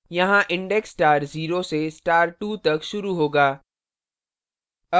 यहाँ index star 0 से star 2 तक शुरू होगा